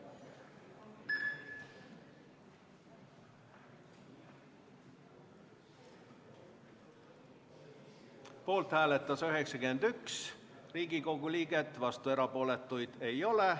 Hääletustulemused Poolt hääletas 91 Riigikogu liiget, vastuolijaid ja erapooletuid ei ole.